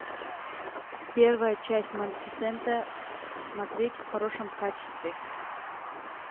первая часть малефисента смотреть в хорошем качестве